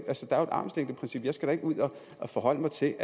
armslængdeprincip og jeg skal da ikke ud og forholde mig til